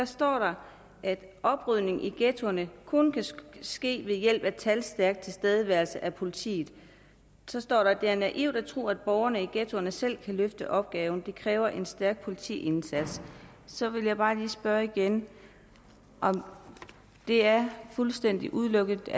står at oprydningen i ghettoerne kun kan ske ved hjælp af talstærk tilstedeværelse af politiet der står at det er naivt at tro at borgerne i ghettoerne selv kan løfte opgaven det kræver en stærk politiindsats så vil jeg bare lige spørge igen om det er fuldstændig udelukket